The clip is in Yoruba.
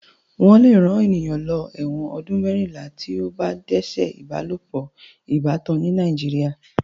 Wọ́n lè rán ènìyàn lọ ẹ̀wọ̀n ọdún mẹ́rìnlá tí ó bá dẹ́ṣẹ̀ ìbálopọ̀ ìbátan ní Nàìjíríà.